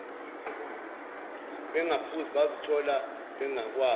bengaphuzi bazithola bengakwazi